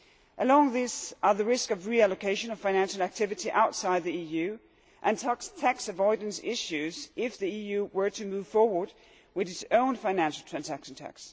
Among these are the risks of reallocation of financial activity outside the EU, and tax avoidance issues, if the EU were to move forward with its own FTT.